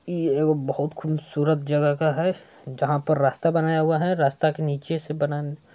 इ एगो बहुत खुनसूरत जगह का है जहां पर रास्ता बनाया हुआ है। रास्ता के नीचे से बनान--